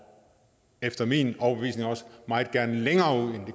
efter min overbevisning også meget gerne længere